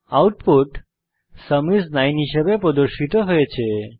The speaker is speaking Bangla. আউটপুট সুম আইএস 9 হিসাবে প্রদর্শিত হয়েছে